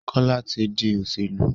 Kola tí dì Olóṣèlú.